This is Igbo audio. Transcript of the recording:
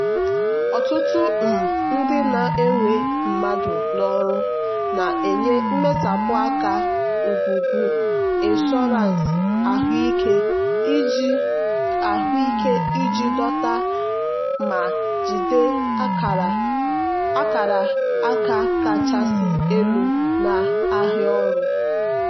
ọtụtụ um ndị na-ewe mmadụ n'ọrụ na-enye mmesapụ aka ngwugwu ịnshọransị ahụike iji ahụike iji dọta ma jigide akara aka kachasị elu n'ahịa ọrụ.